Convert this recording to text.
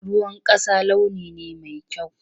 Ruwan ƙasa launi ne mai kyau.